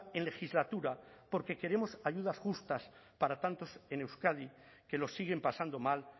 en legislatura porque queremos ayudas justas para tantos en euskadi que lo siguen pasando mal